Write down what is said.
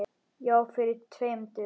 Já, fyrir tveim dögum.